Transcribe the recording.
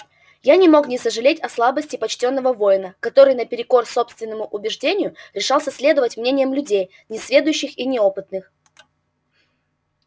я не мог не сожалеть о слабости почтённого воина который наперекор собственному убеждению решался следовать мнениям людей несведущих и неопытных